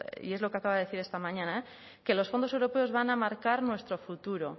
y es lo que acaba de decir esta mañana que los fondos europeos van a marcar nuestro futuro